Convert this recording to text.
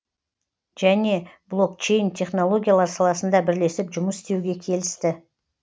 және блокчейн технологиялар саласында бірлесіп жұмыс істеуге келісті